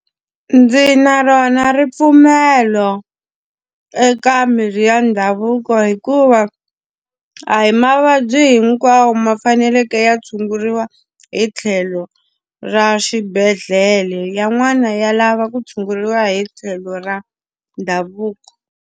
Ndzi na rona ripfumelo eka mirhi ya ndhavuko hikuva a hi mavabyi hinkwawo ma faneleke ya tshunguriwa hi tlhelo ra xibedhlele, yan'wana ya lava ku tshunguriwa hi tlhelo ra ndhavuko.